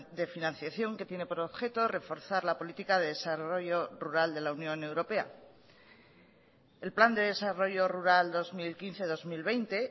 de financiación que tiene por objeto reforzar la política de desarrollo rural de la unión europea el plan de desarrollo rural dos mil quince dos mil veinte